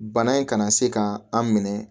Bana in kana se ka an minɛ